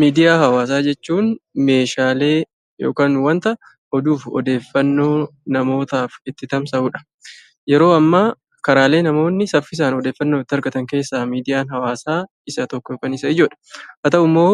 Miidiyaa hawaasaa jechuun meeshaalee yokaan wanta oduuf odeeffannoo namootaaf itti tamsa'udha. Yeroo ammaa karaalee namoonni saffisaan odeeffannoo itti argatan keessaa miidiyaan hawaasaa isa tokko yokaan isa ijoodha. Haa ta'uu'mmoo